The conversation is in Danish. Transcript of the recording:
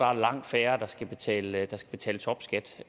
er langt færre der skal betale topskat